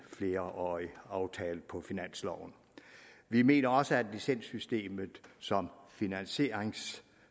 flerårig aftale på finansloven vi mener også at licenssystemet som finansieringssystem